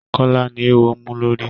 Kọ́lá ni eéwo mú lórí.